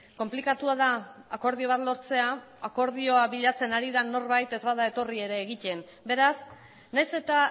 konplikatua da akordio bat lortzea akordioa bilatzen ari den norbait ez bada etorri ere egiten beraz nahiz eta